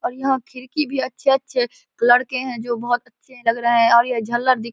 और यहाँ खिड़की भी अच्छे-अच्छे लड़के हैं जो बहोत अच्छे लग रहे हैं और यह झल्लर दिख --